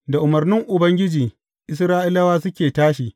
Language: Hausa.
Da umarnin Ubangiji, Isra’ilawa suke tashi.